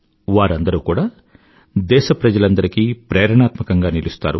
వారందరూ కూడా దేశప్రజలందరికీ ప్రేరణాత్మకంగా నిలుస్తారు